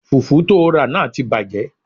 Fùfú tóo rà náà ti bàjẹ́